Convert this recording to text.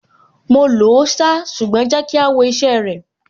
Mo lòó ṣá, ṣùgbọ́n jẹ́ ká wo iṣẹ́ ẹ rẹ̀.